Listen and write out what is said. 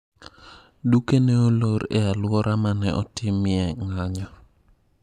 Duke ne olor e aluora mane otimie ng'anyo.